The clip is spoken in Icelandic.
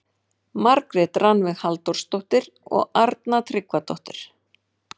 Margrét Rannveig Halldórsdóttir og Arna Tryggvadóttir.